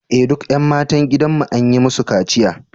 Eh duk ’yan matan gidanmu an yi musu kaciya